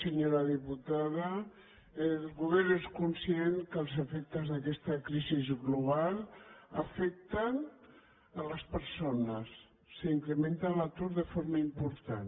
senyora diputada el govern és conscient que els efectes d’aquesta crisi global afecten les persones s’incrementa l’atur de forma important